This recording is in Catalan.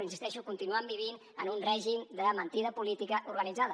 continuen vivint en un règim de mentida política organitzada